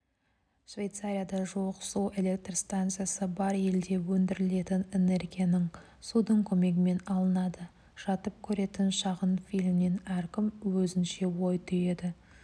швейцарияда жуық су электр стансасы бар елде өндірілетін энергияның судың көмегімен алынады жатып көретін шағын фильмнен әркім өзінше ой түйеді